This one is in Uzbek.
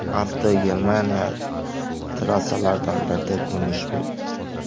Avto Germaniya trassalaridan birida ko‘rinish bergan.